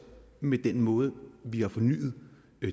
med den måde vi har fornyet